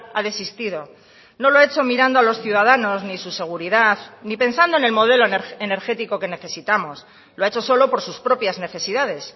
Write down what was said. ha desistido no lo ha hecho mirando a los ciudadanos ni su seguridad ni pensando en el modelo energético que necesitamos lo ha hecho solo por sus propias necesidades